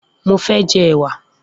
Mo fẹ́ jẹ ẹ̀wà